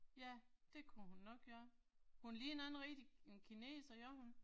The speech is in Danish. Ja, det kunne hun nok gøre. Hun ligner ikke rigtig en kineser gør hun?